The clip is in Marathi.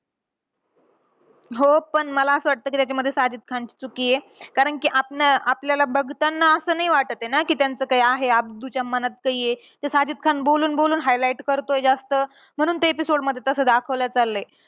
हो पण मला असं वाटतं कि त्याच्यामध्ये साजिद खानची चुकी आहे. कारण कि आपणा आपल्याला बघतांना असं नाही वाटतं आहे ना, कि त्यांचं काही आहे. अब्दूच्या मनात काही आहे. ते साजिद खान बोलून बोलून highlight करतोय जास्त. म्हणून ते episode मध्ये तसं दाखवण्यात आलंय.